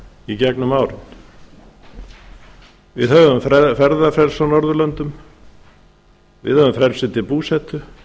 í gegnum árin við höfum ferðafrelsi á norðurlöndum við höfum frelsi til búsetu